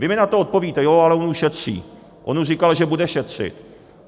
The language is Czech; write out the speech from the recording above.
Vy mi na to odpovíte ano, ale on už šetří, on už říkal, že bude šetřit.